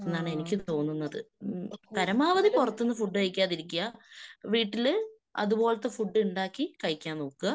എന്നാണ് എനിക്ക് തോന്നുന്നത്. മ്മ് പരമാവതി പുറത്തുന്ന് ഫുഡ് കഴിക്കാതിരിക്ക്യ. വീട്ടില് അതുപോലത്തെ ഫുഡ് ഉണ്ടാക്കി കഴിക്കാൻ നോക്ക്യ.